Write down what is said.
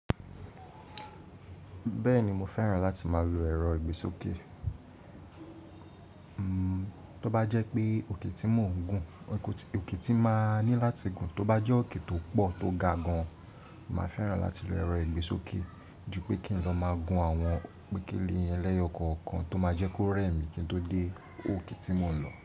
Bẹ́ẹ̀ni mo fẹ́ràn láti máa lo ẹ̀rọ ìgbésókè. Tó bá jẹ́ pé òkè tí mo ń gun, òkè tí máa ní láti gun, tó bá jẹ́ òkè tó pọ̀ tó ga gan, màá fẹ́ràn láti lo ẹ̀rọ ìgbésókè ju pé kí n lọ máa gun àwọn pékélé ẹlẹ́yọọkọ́ kan tó máa jẹ́ kó rẹ̀ mí kí n tó dé òkè tí mo ń lọ.